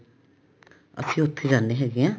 ਅਸੀਂ ਉੱਥੇ ਜਾਂਦੇ ਹੈਗੇ ਹਾਂ